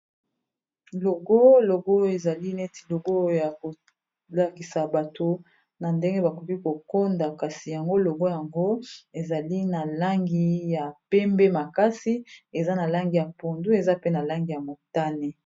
Logo, logo ezali neti logo ya kolakisa bato na ndenge bakoki kokonda kasi yango logo yango ezali na langi ya pembe makasi eza na langi ya pondu eza pe na langi ya motane.